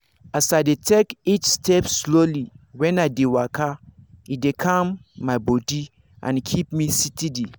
as i dey take each step slowly when i dey waka e dey calm my body and keep me steady.